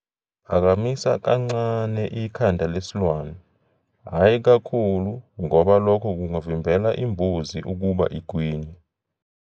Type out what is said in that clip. Phakamisa kancane ikhanda lesilwane, hhayi kakhulu ngoba lokho kungavimbela imbuzi ukuba igwinye.